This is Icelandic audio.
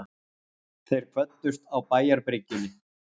Þeir kvöddust á bæjarbryggjunni.